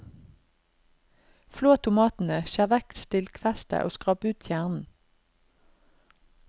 Flå tomatene, skjær vekk stilkfestet og skrap ut kjernen.